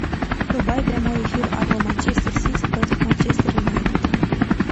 врубай прямой эфир апл манчестер сити против манчестер юнайтед